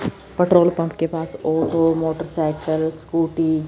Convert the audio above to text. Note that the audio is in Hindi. पेट्रोल पंप के पास और दो मोटरसाइकल स्कूटी --